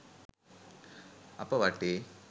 අප වටේ